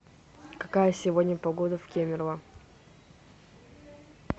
какая сегодня погода в кемерово